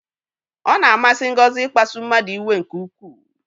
Ọ na-amasị Ngozi ịkpasu mmadụ iwe nke ukwu.